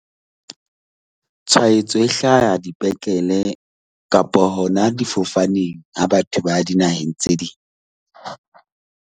Tshwaetso e hlaha dipetlele kapa hona difofaneng ha batho ba ya dinaheng tse ding .